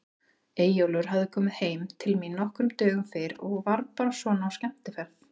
Eyjólfur hafði komið heim til mín nokkrum dögum fyrr og var bara svona á skemmtiferð.